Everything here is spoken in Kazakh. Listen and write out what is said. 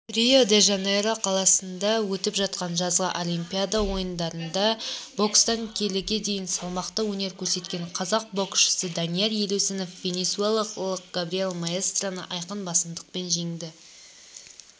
рио-де-жанейро қаласында өтіп жатқан жазғы олимпиада ойындарында бокстан келіге дейін салмақта өнер көрсеткенқазақ бокшысыданияр елеусінов венесуэлалық габриэль маэстраны айқын басымдықпен жеңді